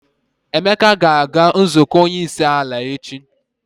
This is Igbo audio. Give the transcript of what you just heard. Emeka ga-aga nzukọ onyeisiala echi.